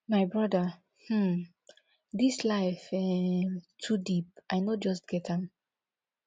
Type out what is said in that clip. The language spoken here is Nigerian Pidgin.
my brother um dis life um too deep i no just get am